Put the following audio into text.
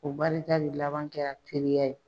O barita de laban kɛra teriya ye.